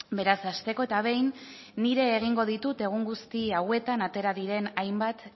beraz hasteko eta behin nire egingo ditut egun guzti hauetan atera diren hainbat